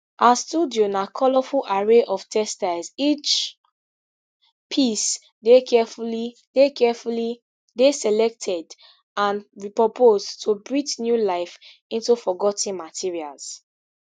her studio na colourful array of textiles each piece dey carefully dey carefully dey selected and repurposed to breathe new life into forgot ten materials